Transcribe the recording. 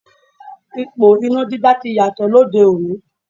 Ipò iná dídá ti yàtọ̀ lóde òní.